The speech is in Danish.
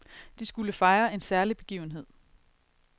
De skulle fejre en særlig begivenhed.